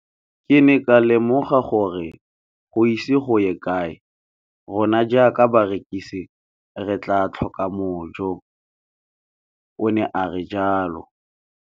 Ke ne ka lemoga gore go ise go ye kae rona jaaka barekise re tla tlhoka mojo, o ne a re jalo.